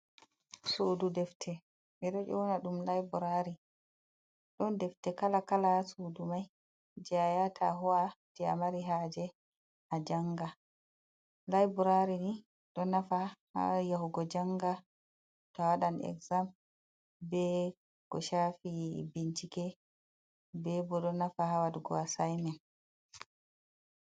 Suudu defte ɓe ɗo ƴona ɗum laibrari, don defte kala kala sudu mai je ayahata huwa to amari haje a janga laibrari ni ɗo nafa ha war yahugo janga to wadan exzam be ko shafi bincike be bo ɗo nafa ha waɗugo asaimen.